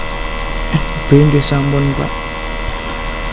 B Nggih sampun Pak